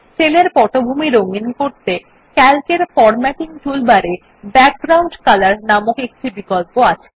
sell এর পটভূমি রঙিন করতে সিএএলসি এর ফরম্যাটিং টুলবারে ব্যাকগ্রাউন্ড কলর নামক একটি বিকল্প উপলব্ধ আছে